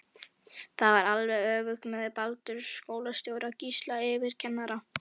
Það var alveg öfugt með Baldur skólastjóra og Gísla yfirkennara.